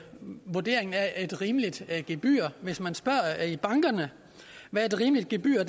man vurderer er et rimeligt gebyr hvis man spørger i bankerne hvad et rimeligt gebyr